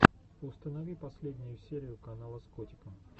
установи последнюю серию канала с котиком